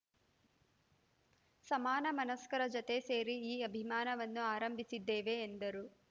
ಸಮಾನ ಮನಸ್ಕರ ಜತೆ ಸೇರಿ ಈ ಅಭಿಯಾನವನ್ನು ಆರಂಭಿಸಿದ್ದೇವೆ ಎಂದರು